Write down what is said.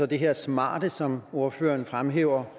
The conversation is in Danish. det her smarte som ordføreren fremhæver